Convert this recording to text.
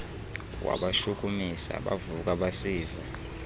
wabashukumisa bavuka basiva